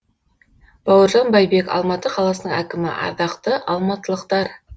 бауыржан байбек алматы қаласының әкімі ардақты алматылықтар